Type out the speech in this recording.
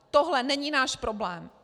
Tohle není náš problém.